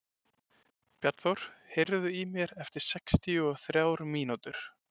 Bjarnþór, heyrðu í mér eftir sextíu og þrjár mínútur.